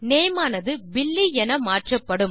name ஆனது Billy என மாற்றப்படும்